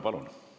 Palun!